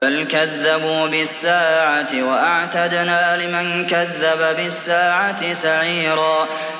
بَلْ كَذَّبُوا بِالسَّاعَةِ ۖ وَأَعْتَدْنَا لِمَن كَذَّبَ بِالسَّاعَةِ سَعِيرًا